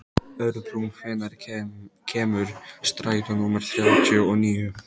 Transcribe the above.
Örbrún, hvenær kemur strætó númer þrjátíu og níu?